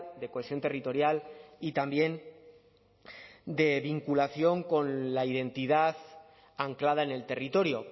de cohesión territorial y también de vinculación con la identidad anclada en el territorio